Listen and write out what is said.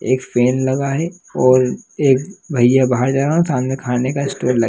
एक फैन लगा है और एक भईया बाहर जा रहे हैं। सामने खाने का स्टॉल लगा--